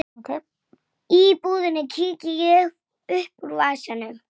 Kemur ekki til mála!